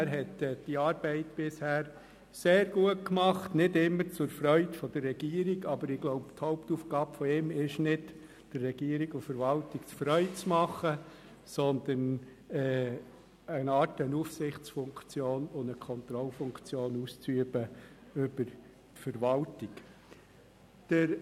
Er hat diese Arbeit bisher sehr gut gemacht, nicht immer zur Freude der Regierung, aber seine Hauptaufgabe besteht nicht darin, der Regierung und Verwaltung Freude zu bereiten, sondern eine Art Aufsichts- und Kontrollfunktion über die Verwaltung auszuüben.